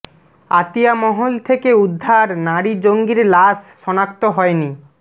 আতিয়া মহল থেকে উদ্ধার নারী জঙ্গির লাশ শনাক্ত হয়নি